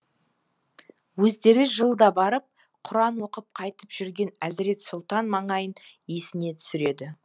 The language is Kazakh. өздері жылда барып құран оқып қайтып жүрген әзірет сұлтан маңайын есіне түсіреді